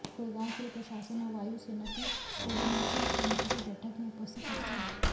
गुड़गांव जिला प्रशासन और वायु सेना की कोर्डिनेशन कमेटी की बैठक में उपस्थित अफसर